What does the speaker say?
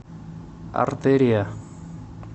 артерия